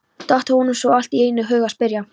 datt honum svo allt í einu í hug að spyrja.